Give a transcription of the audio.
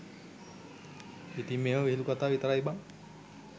ඉතින් මේව විහිලු කතා විතරයි බන්